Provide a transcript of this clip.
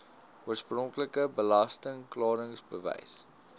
oorspronklike belasting klaringsbewys